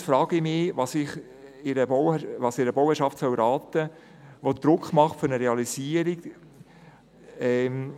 Allerdings frage ich mich, was ich einer Bauherrschaft raten soll, die Druck für eine Realisierung macht, wenn